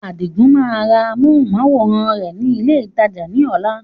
Adigun máa ra amohùn-máwórán rẹ ni ilé ìtajà ni ọ̀la.